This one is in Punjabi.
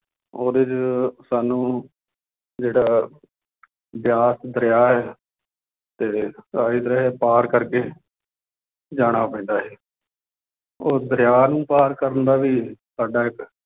ਉਹਦੇ 'ਚ ਸਾਨੂੰ ਜਿਹੜਾ ਬਿਆਸ ਦਰਿਆ ਹੈ ਤੇ ਆਹੀ ਦਰਿਆ ਪਾਰ ਕਰਕੇ ਜਾਣਾ ਪੈਂਦਾ ਸੀ ਉਹ ਦਰਿਆ ਨੂੰ ਪਾਰ ਕਰਨ ਦਾ ਵੀ ਸਾਡਾ ਇੱਕ